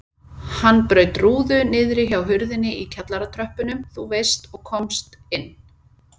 Hann braut rúðu niðri hjá hurðinni í kjallaratröppunum þú veist og komst inn.